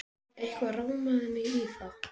Jú, eitthvað rámaði mig í það.